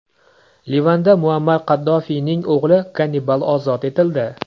Livanda Muammar Qaddafiyning o‘g‘li Gannibal ozod etildi.